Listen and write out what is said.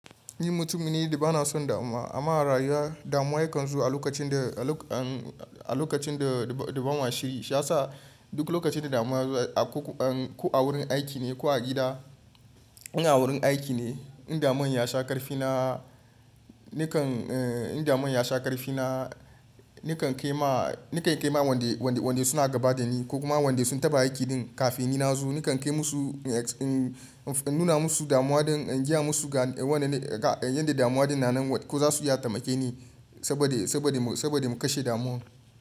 Ni mutum ne da bana son dama amma rayuwa damuwa ya kan zo a lokacin da ban washi, ya sa duk lokacin da dama yazo ko a wurin aiki ne ko a gida. In a wurin aiki ne in damon ya sha ƙarfi na nakan kai ma wanda suna gaba da ni ko kuma wanda sun taba aiki din kafin ni nazo nakan nuna musu damuwa don in gaya musu yanda damuwa din na nan ko za su ya tamake ni saboda mu kashe damon.